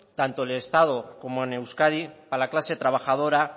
tanto de estado como en euskadi a la clase trabajadora